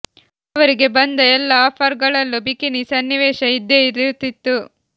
ಅವರಿಗೆ ಬಂದ ಎಲ್ಲಾ ಆಫರ್ ಗಳಲ್ಲೂ ಬಿಕಿನಿ ಸನ್ನಿವೇಶ ಇದ್ದೇ ಇರುತ್ತಿತ್ತು